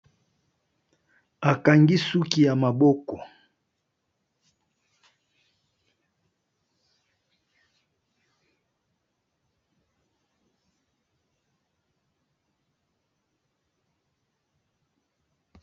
Akangi suki ya maboko.